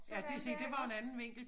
Sådan dér iggås